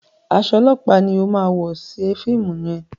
Aṣọ ọlọpa ní o má wọ ṣe fíìmù yén.